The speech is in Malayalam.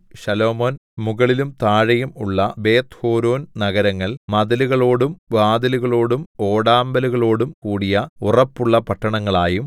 ശലോമോൻ മുകളിലും താഴെയും ഉള്ള ബേത്ത്ഹോരോൻ നഗരങ്ങൾ മതിലുകളോടും വാതിലുകളോടും ഓടാമ്പലുകളോടും കൂടിയ ഉറപ്പുള്ള പട്ടണങ്ങളായും